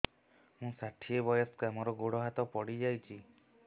ମୁଁ ଷାଠିଏ ବୟସ୍କା ମୋର ଗୋଡ ହାତ ପଡିଯାଇଛି